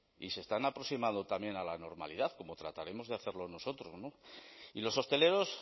y se están aproximado también a la normalidad como trataremos de hacerlo nosotros y los hosteleros